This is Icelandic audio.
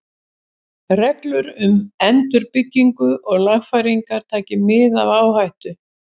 Reglur um endurbyggingu og lagfæringar, taki mið af áhættu.